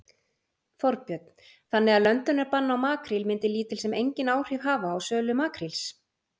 Þorbjörn: Þannig að löndunarbann á makríl myndi lítil sem enginn áhrif hafa á sölu makríls?